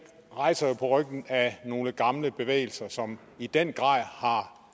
rejser jo på ryggen af nogle gamle bevægelser som i den grad har